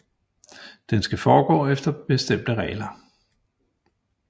Den skal foregå efter bestemte regler